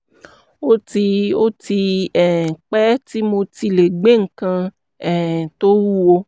ó ti ó ti um pẹ́ tí mi ò ti lè gbé nǹkan um tó wúwo